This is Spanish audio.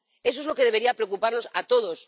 Eso es lo que debería preocuparnos a todos.